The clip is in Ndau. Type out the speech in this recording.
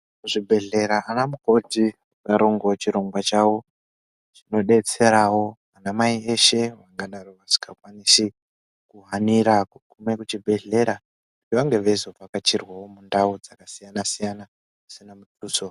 Muzvibhehlera anamukoti ngaarongewo chirongwa chawo chinodetserawo anamai eshe vakadaro vasingakwanisi kuhanira kugume kuchibhehlera vange veizovhakachirwawo mundau dzakasiyana siyana dzisina mudutso.